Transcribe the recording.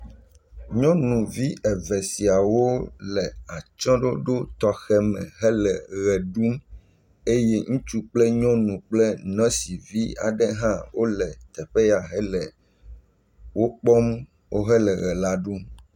Nyɔnuvi eve siawo le atsyɔ̃ɖoɖo tɔxɛ me hele ʋe ɖum eye ŋutsu kple nyɔnu kple nɔsivi aɖe hã le teƒe ya hele wokpɔm wohe le ʋe la ɖum.